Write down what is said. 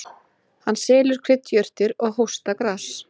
Hann selur kryddjurtir og hóstagras.